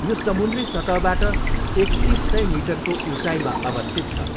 यो समुन्द्री सतहबाट एकतिस सय मिटरको उचाइमा अवस्थित छ।